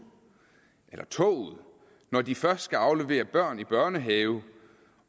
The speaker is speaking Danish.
eller toget når de først skal aflevere børn i børnehave